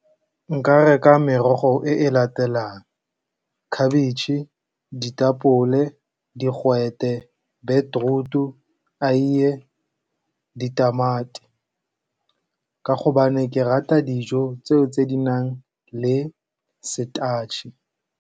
Nka reka merogo e e latelang khabetšhe, ditapole, digwete, beetroot-u, eiye, ditamati, ka gobane ke rata dijo tseo tse di nang le starch-e.